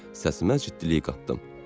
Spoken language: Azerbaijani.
Səsimə ciddilik qatdım.